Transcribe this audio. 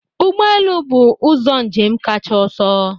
Ụgbọ elu bụ ụzọ njem kacha ọsọ